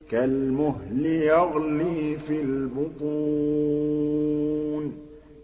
كَالْمُهْلِ يَغْلِي فِي الْبُطُونِ